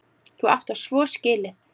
Þú átt það svo skilið!